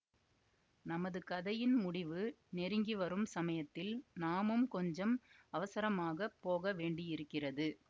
நமது கதையின் முடிவு நெருங்கி வரும் சமயத்தில் நாமும் கொஞ்சம் அவசரமாக போகவேண்டியிருக்கிறது